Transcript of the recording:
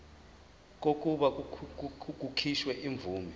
kokuba kukhishwe imvume